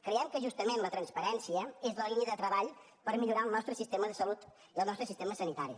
creiem que justament la transparència és la línia de treball per millorar el nostre sistema de salut i el nostre sistema sanitari